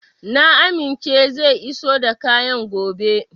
Na amince zai iso da kayan gobe.